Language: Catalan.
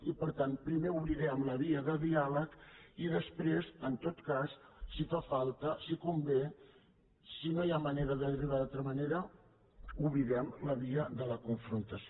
i per tant primer obrirem la via del diàleg i després en tot cas si fa falta si convé si no hi ha manera d’arribar hi d’altra manera obrirem la via de la confrontació